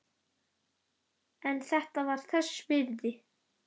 En þetta var þess virði.